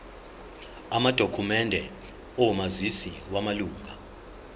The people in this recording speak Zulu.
amadokhumende omazisi wamalunga